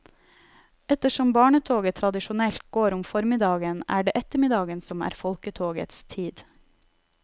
Ettersom barnetoget tradisjonelt går om formiddagen, er det ettermiddagen som er folketogets tid.